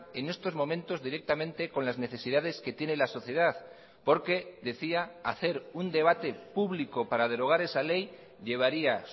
en estos momentos directamente con las necesidades que tiene la sociedad porque decía hacer un debate público para derogar esa ley llevaría